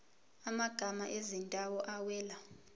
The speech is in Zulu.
amagama ezindawo awela